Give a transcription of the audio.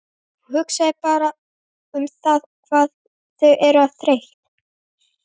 Hún hugsar bara um það hvað þau eru þreytt.